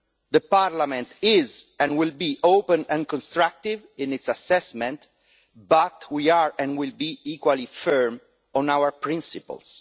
The Parliament is, and will be, open and constructive in its assessment, but we are, and will be, equally firm on our principles.